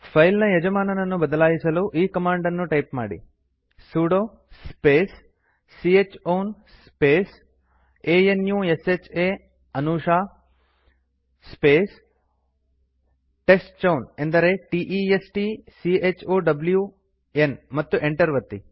file ನ ಯಜಮಾನನನ್ನು ಬದಲಾಯಿಸಲು ಈ ಕಮಾಂಡ್ ನ್ನು ಟೈಪ್ ಮಾಡಿ ಸುಡೊ ಸ್ಪೇಸ್ c ಹ್ ಔನ್ ಸ್ಪೇಸ್ ಅನುಶಾ ಅಂದರೆ a n u s h ಆ ಸ್ಪೇಸ್ ಟೆಸ್ಟ್ಚೌನ್ ಅಂದರೆ t e s t c h o w ನ್ ಮತ್ತು ಎಂಟರ್ ಒತ್ತಿ